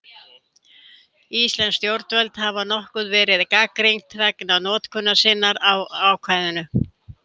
Íslensk stjórnvöld hafa nokkuð verið gagnrýnd vegna notkunar sinnar á ákvæðinu.